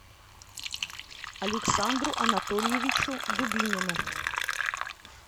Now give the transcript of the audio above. александру анатольевичу дубинину